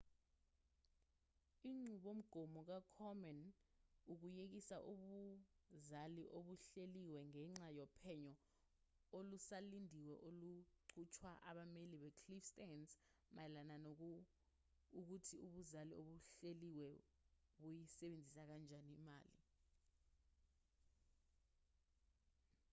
inqubomgomo ka-komen ukuyekise ubuzali obuhleliwe ngenxa yophenyo olusalindiwe oluqhutshwa abameli be-cliff stearns mayelana nokuthi ubuzali obuhleliwe buyisebenzisa kanjani imali